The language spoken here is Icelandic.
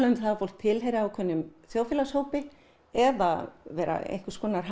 um að fólk tilheyrði ákveðnum þjóðfélagshópi eða vera einhvers konar